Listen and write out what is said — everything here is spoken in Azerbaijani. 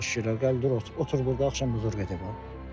O şeylər gəl dur, otur burda, axşam özü gedəcək deyəsən.